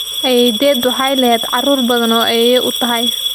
Ayeeyday waxay leedahay caruur badan oo ayeeyo u tahy.